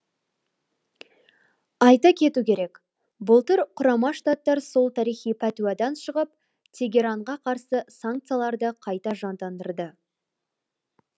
айта кету керек былтыр құрама штаттар сол тарихи пәтуадан шығып тегеранға қарсы санкцияларды қайта жандандырды